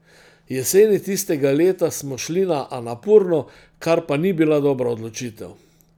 Jeseni tistega leta smo šli na Anapurno, kar pa ni bila dobra odločitev.